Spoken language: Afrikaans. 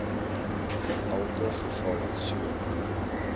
elke geval so